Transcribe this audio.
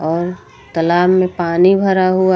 और तालाब में पानी भरा हुआ।